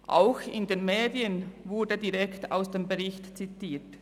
Auch in den Medien wurde direkt aus dem Bericht zitiert.